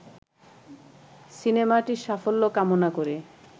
সিনেমাটির সাফল্য কামনা করে